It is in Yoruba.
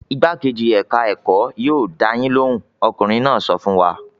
"Igbákejì ẹ̀ka-ẹ̀kọ́ yóò dá yín lóhùn!" Ọkùnrin náà sọ fún wa.